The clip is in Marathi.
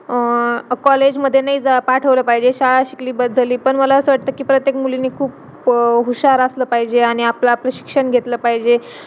अह college मध्ये नाही जा पाठवला पाहिजे शाळा शिकली बस झाली पण मला असा वाटते कि प्रत्येक मुलीनी खूप हुशार असला पाहिजे आणि आपला आपला शिक्षण घेतला पाहिजे